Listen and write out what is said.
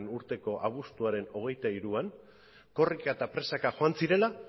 urteko abuztuaren hogeita hiruan korrika eta presaka joan zirela